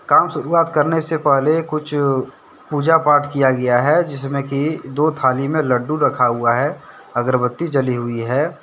काम शुरुआत करने से पहले कुछ पूजा पाठ किया गया है। जिसमें कि दो थाली में लड्डू रखा हुआ है अगरबत्ती जली हुई है ।